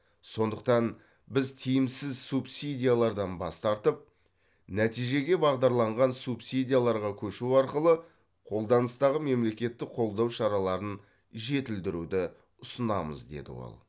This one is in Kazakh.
сондықтан біз тиімсіз субсидиялардан бас тартып нәтижеге бағдарланған субсидияларға көшу арқылы қолданыстағы мемлекеттік қолдау шараларын жетілдіруді ұсынамыз деді ол